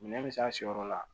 Minɛn bɛ se a siyɔrɔ la